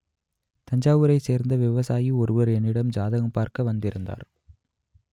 தஞ்சாவூரைச் சேர்ந்த விவசாயி ஒருவர் என்னிடம் ஜாதகம் பார்க்க வந்திருந்தார்